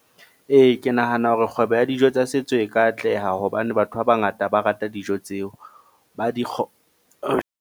Ee, ke nahana hore kgwebo ya dijo tsa setso e ka atleha hobane batho ba bangata ba rata dijo tseo, ba di .